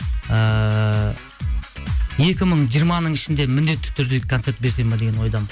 ііі екі мың жиырманың ішінде міндетті түрде концерт берсем бе деген ойдамын